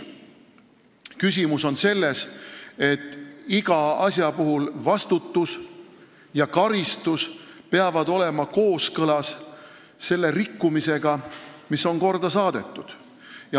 Küsimus on selles, et iga asja puhul vastutus ja karistus peavad olema kooskõlas rikkumisega, mis on korda saadetud.